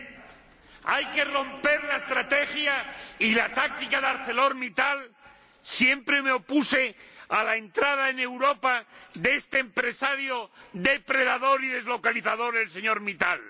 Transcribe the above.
Señora Presidenta, hay que romper la estrategia y la táctica de ArcelorMittal. Siempre me opuse a la entrada en Europa de este empresario depredador y deslocalizador, el señor Mittal.